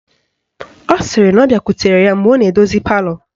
Ọ sịrị na ọ bịakwutere ya mgbe ọ na-edozi palọ